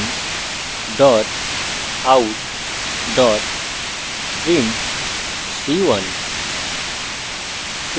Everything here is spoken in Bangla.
system out print c1;